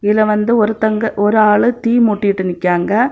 இதுல வந்து ஒருத்தங்க ஒரு ஆள் தீ மூட்டிகிட்டு நிக்காய்ங்க.